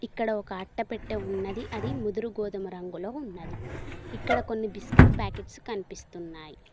ఇక్కడ ఒక అట్టపెట్ట ఉన్నది అది ముదురు గోధుమ రంగులో ఉన్నది ఇక్కడ కొన్ని బిస్కెట్ ప్యాకెట్స్ కనిపిస్తున్నాయ్.